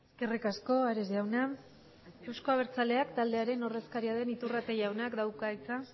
eskerrik asko ares jauna euzko abertzaleak taldearen ordezkaria den iturrate jaunak dauka hitza